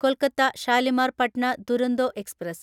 Kolkata Shalimar Patna Duronto express